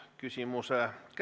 Tänan küsimuse eest!